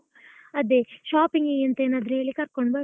ಅದೆ shopping ಗೆ ಅಂತ ಏನಾದ್ರು ಹೇಳಿ ಕರ್ಕೊಂಡು ಬರುವ.